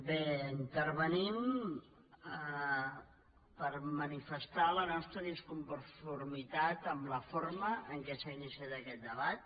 bé intervenim per manifestar la nostra disconformitat amb la forma en què s’ha iniciat aquest debat